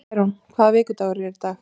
Særún, hvaða vikudagur er í dag?